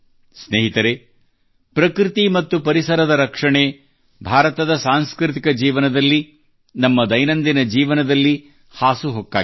ಸ್ನೇಹಿತರೇ ಪ್ರಕೃತಿ ಮತ್ತು ಪರಿಸರದ ರಕ್ಷಣೆ ಭಾರತದ ಸಾಂಸ್ಕೃತಿಕ ಜೀವನದಲ್ಲಿ ನಮ್ಮ ದೈನಂದಿನ ಜೀವನದಲ್ಲಿ ಹಾಸುಹೊಕ್ಕಾಗಿದೆ